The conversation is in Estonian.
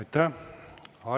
Aitäh!